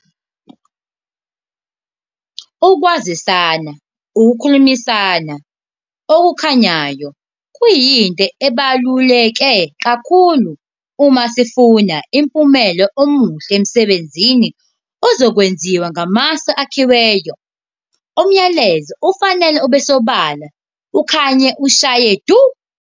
Ukuzwisana, ukukhulumisana, okukhanyayo kuyinto ebaluleke kakhulu uma sifuna umphumelo omuhle emsebenzini ozokwenziwa ngamasu akhiweyo. Umlayezo ufanele ubesobala, ukhanye ushaye du.